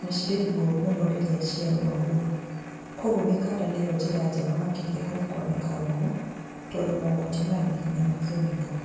na cirĩ ruo mũno rĩrĩa ciarũma mũndũ. Koguo mĩkanda nĩyo njĩra njega makĩria harĩ kwanĩka nguo, tondũ mogwati maya nĩ hinya makĩonekana.